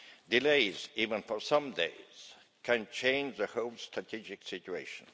Delays, even for a few days, can change the whole strategic situation.